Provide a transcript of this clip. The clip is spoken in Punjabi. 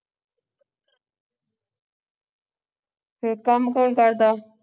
ਤੇ ਕੰਮ ਕੌਣ ਕਰਦਾ ਹੈ